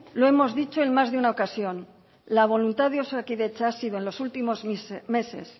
lo hemos dicho en más de una ocasión la voluntad de osakidetza ha sido en los últimos meses